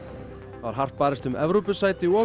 var hart barist um Evrópusæti og